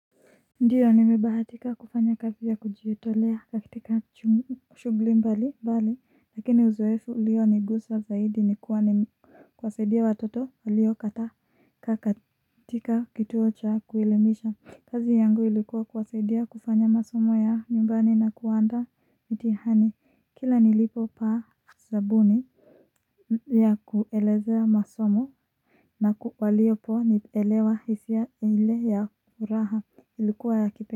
Ndio nimebahatika kufanya kazi ya kujitolea katika shughuli mbali mbali lakini uzoefu ulio niguza zaidi ni kuwa kuwasaidia watoto walio kata katika kituo cha kuelimisha kazi yangu ilikuwa kwasaidia kufanya masomo ya nyumbani na kuanda mitihani kila nilipo paa zabuni ya kuelezea masomo na waliopo ni elewa hisia ile ya furaha ilikuwa ya kipe.